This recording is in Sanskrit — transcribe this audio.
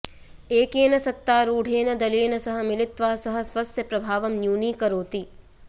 एकेन सत्तारूढेन दलेन सह मिलित्वा सः स्वस्य प्रभावं न्यूनीकरोति